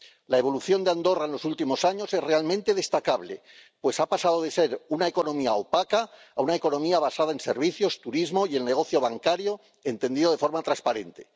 La evolución de Andorra en los últimos años es realmente destacable, pues ha pasado de ser una economía opaca a ser una economía basada en servicios, turismo y el negocio bancario, entendido de forma transparente.